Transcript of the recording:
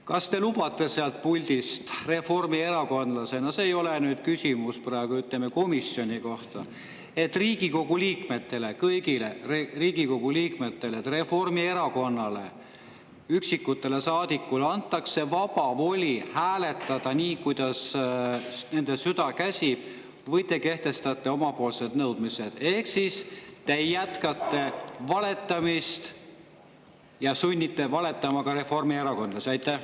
Kas te lubate sealt puldist reformierakondlasena – see ei ole nüüd küsimus komisjoni kohta – Riigikogu liikmetele, kõigile Riigikogu liikmetele, et Reformierakonna saadikutele antakse vaba voli hääletada nii, kuidas nende süda käsib, või te kehtestate oma nõudmised ehk jätkate valetamist ja sunnite valetama ka reformierakondlasi?